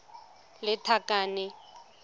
lethakane